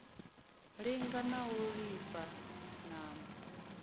linga na u ilafha ṋama